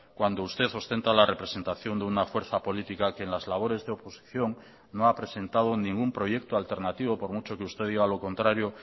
cuando usted ostenta la representación de una fuerza política que en las labores de oposición no ha presentado ningún proyecto alternativo por mucho que usted diga lo contrario